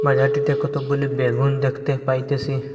বাজারটিতে কতকগুলি বেগুন দেখতে পাইতেসি।